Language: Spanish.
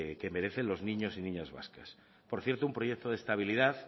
que merecen los niños y niñas vascas por cierto un proyecto de estabilidad